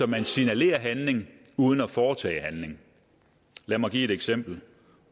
man signalerer handling uden at foretage handling lad mig give et eksempel